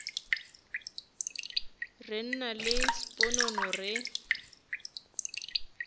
re nna le sponono re